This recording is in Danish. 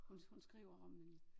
Hun hun skriver om